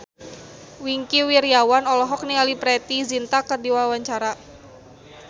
Wingky Wiryawan olohok ningali Preity Zinta keur diwawancara